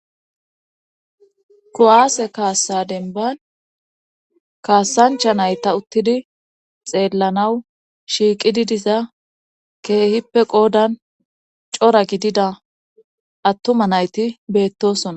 Kuwaase kaassa denban kaasancha nayta uttidi xeellanaw shiiqididiza keehippe qoodan cora gidida attuma nayti beettosona.